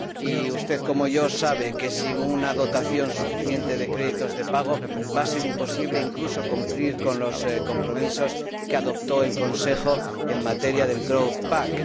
Y usted, como yo, sabemos que sin una dotación suficiente de créditos de pago va a ser imposible incluso cumplir con los compromisos que adoptó el Consejo en el marco del paquete de crecimiento.